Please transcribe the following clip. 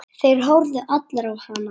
Þeir horfðu allir á hana.